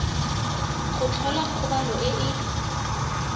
go tlhola kgobalo e e